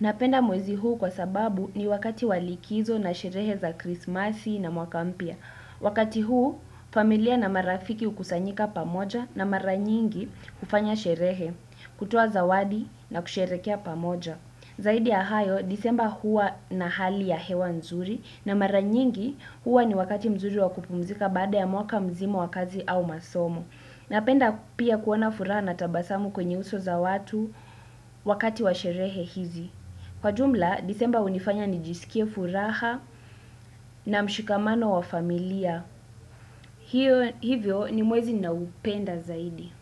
napenda mwezi huu kwa sababu ni wakati walikizo na sherehe za krismasi na mwaka mpya. Wakati huu familia na marafiki hukusanyika pamoja na maranyingi kufanya sherehe kutoa zawadi na kusherehekea pamoja. Zaidi ya hayo december hua na hali ya hewa nzuri na maranyingi hua ni wakati mzuri wa kupumzika baada ya mwaka mzima wakazi au masomo. Na penda pia kuona furaha na tabasamu kwenye uso za watu wakati wa sherehe hizi. Kwa jumla, disemba hunifanya ni jisikie furaha na mshikamano wa familia. Hivyo ni mwezi ninaoupenda zaidi.